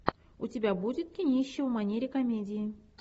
у тебя будет кинище в манере комедии